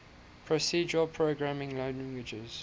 procedural programming languages